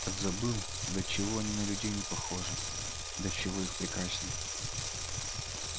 так забыл до чего они на людей не похожи до чего их прекрасней